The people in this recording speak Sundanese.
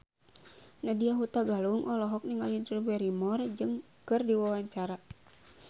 Nadya Hutagalung olohok ningali Drew Barrymore keur diwawancara